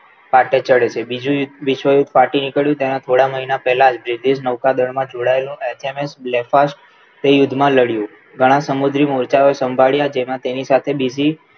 ફાટે ચડે છે બીજું વિશ્વયુદ્ધ ફાટી નીકળ્યું તેના થોડાક મહિના પહેલા જ વિધિ નૌકાદળ માં જોડાયેલું H. M. S black fast તે યુદ્ધમાં લડવું ઘણા સમુદ્રી મોજાઓએ સંભાળ્યા જેમાં તેની સાથે બીજી